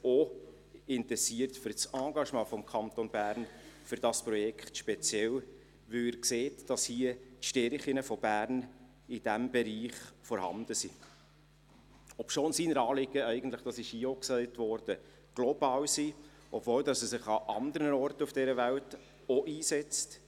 Er interessiert sich auch für das Engagement des Kantons Bern für dieses Projekt speziell, weil er sieht, dass die Stärken von Bern in diesem Bereich vorhanden sind, obwohl seine Anliegen eigentlich – das wurde hier auch gesagt – global sind, obwohl er sich an anderen Orten auf dieser Welt auch einsetzt.